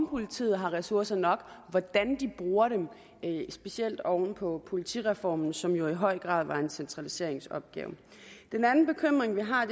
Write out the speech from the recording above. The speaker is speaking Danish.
politiet har ressourcer nok og hvordan de bruger dem specielt oven på politireformen som jo i høj grad var en centraliseringsopgave den anden bekymring vi har